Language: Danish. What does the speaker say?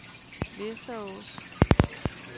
Västerås